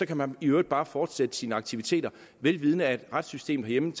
kan man i øvrigt bare fortsætte sine aktiviteter vel vidende at retssystemet herhjemme